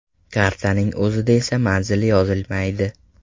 Kartaning o‘zida esa manzil yozilmaydi.